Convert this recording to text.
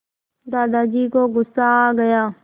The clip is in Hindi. दादाजी को गुस्सा आ गया